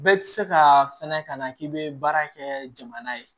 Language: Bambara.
Bɛɛ tɛ se ka fɛnɛ kana k'i bɛ baara kɛ jamana ye